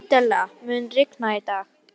Adela, mun rigna í dag?